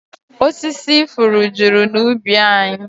Osisi ifuru juru n'ubi anyị